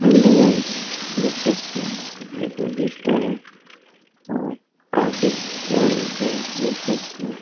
Hello guys देख सकते है यहाँ पे एगो पिस्तौल है और काफी बड़े है देख सकते है ।